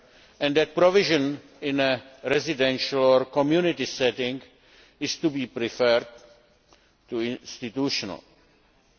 and that provision in a residential or community setting is to be preferred to an institutional setting.